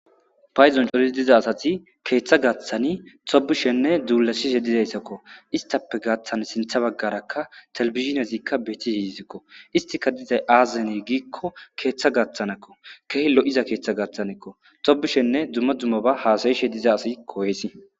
paydon coridi diza asati keeththa gaaththani tobishenne duulashishe dizayssakko istappe gaaththan sintha baggarakka telebizhiniyazikka beettis izikko istika dizay aazazene giikko keeththa gaaththanakko kehe lo7iza keeththa gaththanekko tobishenne dumma dzummaba haasayishe diza asi koyesi